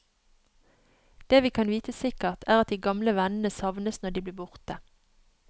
Det vi kan vite sikkert, er at de gamle vennene savnes når de blir borte.